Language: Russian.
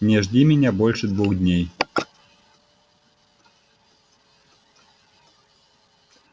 не жди меня больше двух дней